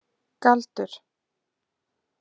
Galdur